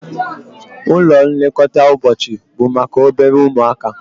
Ụlọ nlekọta ụbọchị bụ maka obere ụmụaka